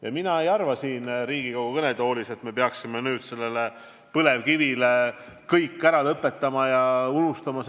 Ja mina ei arva siin Riigikogu kõnetoolis, et me peaksime kogu põlevkivitööstuse ära lõpetama ja selle ära unustama.